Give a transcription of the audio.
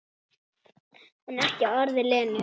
En ekki orð við Lenu.